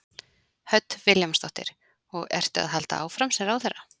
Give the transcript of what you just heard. Hödd Vilhjálmsdóttir: Og ertu að halda áfram sem ráðherra?